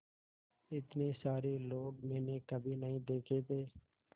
इतने सारे लोग मैंने कभी नहीं देखे थे